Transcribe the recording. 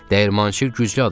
Dəyirmançı güclü adam idi.